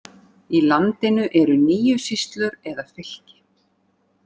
Í landinu eru níu sýslur eða fylki.